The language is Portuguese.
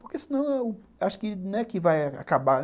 Porque se não, acho que não é que vai acabar.